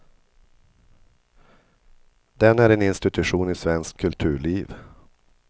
Den är en institution i svenskt kulturliv.